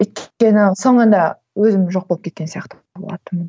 соңында өзім жоқ болып кеткен сияқты болатынмын